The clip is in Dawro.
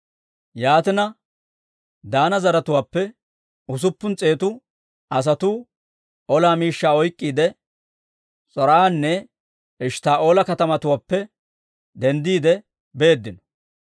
Yaatina, Daana zaratuwaappe usuppun s'eetu asatuu ola miishshaa oyk'k'iide, S'or"anne Eshttaa'oola katamatuwaappe denddiide beeddino.